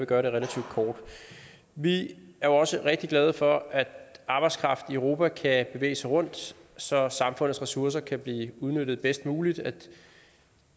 gøre det relativt kort vi er også rigtig glade for at arbejdskraften i europa kan bevæge sig rundt så samfundets ressourcer kan blive udnyttet bedst muligt at